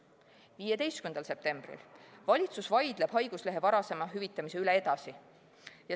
15. septembril: "Valitsus vaidleb haiguslehe varasema hüvitamise üle edasi".